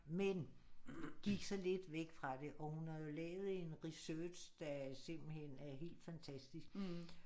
Men gik så lidt væk fra det og hun havde jo lavet en research der simpelthen er helt fantastisk